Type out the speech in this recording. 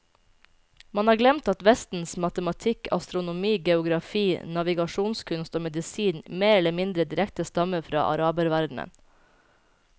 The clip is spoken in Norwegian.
Man har glemt at vestens matematikk, astronomi, geografi, navigasjonskunst og medisin mer eller mindre direkte stammer fra araberverdenen.